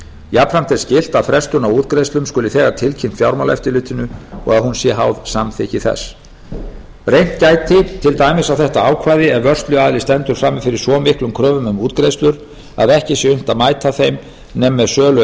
jafnframt er skylt að frestun á útgreiðslum skuli þegar tilkynnt fjármálaeftirlitinu og að hún sé háð samþykki þess reynt gæti til dæmis á þetta ákvæði ef vörsluaðili stendur frammi fyrir svo miklum kröfum um útgreiðslur að ekki sé unnt að mæta þeim nema með sölu